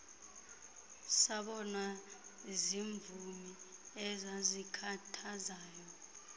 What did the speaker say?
sabonwa ziimvumi ezazikhathazwayo